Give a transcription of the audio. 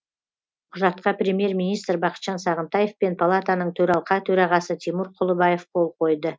құжатқа премьер министр бақытжан сағынтаев пен палатаның төралқа төрағасы тимур құлыбаев қол қойды